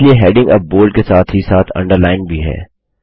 इलिए heading अब bold के साथ ही साथ अंडरलाइन्ड भी है